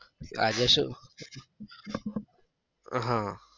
આજે શું? હમ